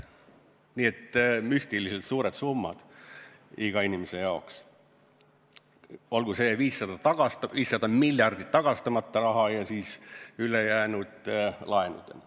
Nii et müstiliselt suured summad iga inimese jaoks, olgu see 500 miljardit pealegi tagastamata raha ja siis ülejäänu laenudena.